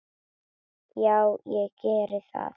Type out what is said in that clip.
Já, ég geri það